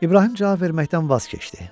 İbrahim cavab verməkdən vaz keçdi.